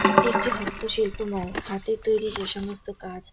এটি একটি হস্ত শিল্প মেলা হাতের তৈরী যেসমস্ত কাজ--